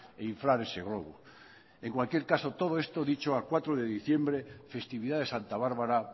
e inflar ese globo en cualquier caso todo esto dicho a cuatro de diciembre festividad de santa bárbara